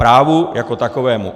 Právu jako takovému.